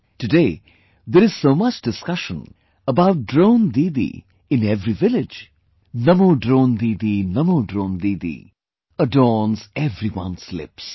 Today there is so much discussion about Drone Didi in every village... "Namo Drone Didi, Namo Drone Didi", adorns everyone's lips